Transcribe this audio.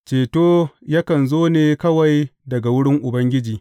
Ceto yakan zo ne kawai daga wurin Ubangiji.